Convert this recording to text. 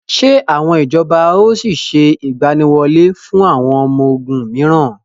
Ṣé àwọn ìjọba ó sì sé ìgbàníwọlé fún àwọn ọmọ ogún miran?